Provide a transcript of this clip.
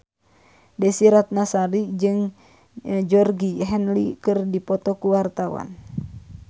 Desy Ratnasari jeung Georgie Henley keur dipoto ku wartawan